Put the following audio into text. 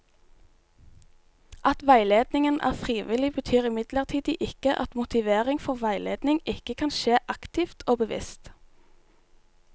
At veiledningen er frivillig, betyr imidlertid ikke at motivering for veiledning ikke kan skje aktivt og bevisst.